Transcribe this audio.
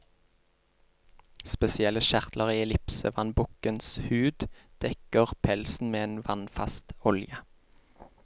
Spesielle kjertler i ellipsevannbukkens hud dekker pelsen med en vannfast olje.